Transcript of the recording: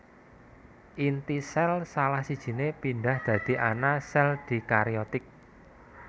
Inti sél salah sijine pindhah dadi ana sel dikariotik